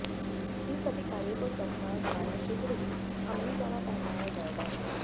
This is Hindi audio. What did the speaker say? इन सभी कार्यों को सरकार द्वारा शीघ्र ही अमलीजामा पहनाया जाएगा